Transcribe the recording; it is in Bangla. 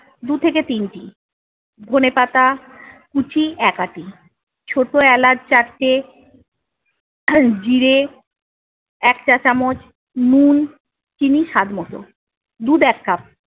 দু থেকে তিনটি। ধনেপাতা কুচি এক আটি, ছোটো এলাচ চারটে জিরে এক চামচ, নুন চিনি স্বাদ মতো। দুধ এক কাপ